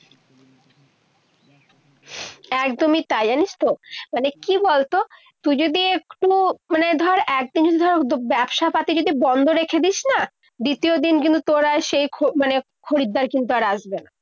একদমই তাই। জানিস তো, মানে কি বলতো তুই যদি একটু মানে ধর একটু জিনিস ধরার উদ্যোগ ব্যবসাপাতি যদি বন্ধ রেখে দিসনা দ্বিতীয় দিন কিন্তু তোর আর সেই মানে খরিদ্দার কিন্তু আসবেনা।